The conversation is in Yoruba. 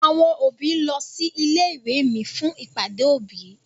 Àwọn òbí ń lọ sí ilé ìwé mi fún ìpàdé òbí.